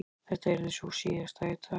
Þetta yrði sú síðasta í dag.